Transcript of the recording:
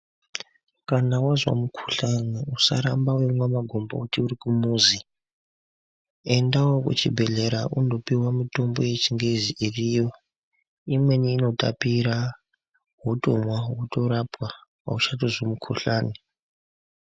Kana wazwa mukuhlani usaramba weirwe makomboti urikumuzi endawo kuchibhehlera undopiwa yechingezi iriyo imweni inotapira wotomwa wotorapwa auchatozwi mukhuhlani